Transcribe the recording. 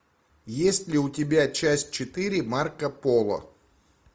есть ли у тебя часть четыре марко поло